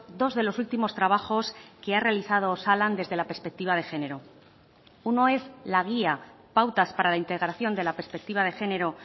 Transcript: dos de los últimos trabajos que ha realizado osalan desde la perspectiva de género uno es la guía pautas para la integración de la perspectiva de género